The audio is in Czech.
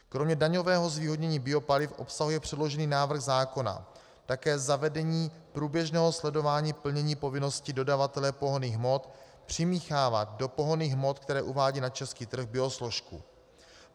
Kromě daňového zvýhodnění biopaliv obsahuje předložený návrh zákona také zavedení průběžného sledování plnění povinnosti dodavatele pohonných hmot přimíchávat do pohonných hmot, které uvádí na český trh, biosložku.